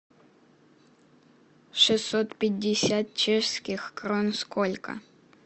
шестьсот пятьдесят чешских крон сколько